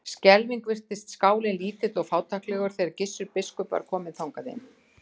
Skelfing virtist skálinn lítill og fátæklegur þegar Gissur biskup var kominn þangað inn.